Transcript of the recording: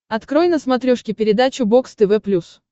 открой на смотрешке передачу бокс тв плюс